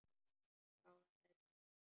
Já, það er bara svona.